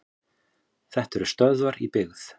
Þetta eru stöðvar í byggð.